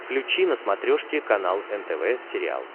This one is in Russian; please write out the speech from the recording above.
включи на смотрешке канал нтв сериал